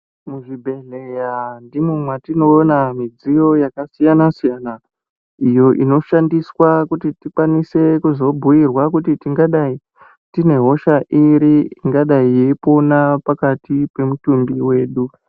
Muzvibhehleya ndimwo mwatinoona midziyo yakasiyana-siyana iyo inoshandiswa kuti tikwanise kuzobhuirwa kuti tingadai tine hosha iri ingadayi yeipona pakati pemutumbi wedu.